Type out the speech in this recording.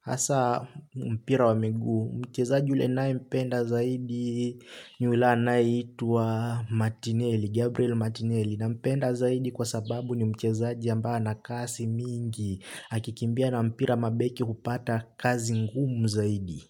hasa mpira wa miguu. Mchezaji ule ninayempenda zaidi ni yule anayeitwa Matineli, Gabriel Matineli. Nampenda zaidi kwa sababu ni mchezaji ambaye ana kasi mingi. Akikimbia na mpira mabeki hupata kazi ngumu zaidi.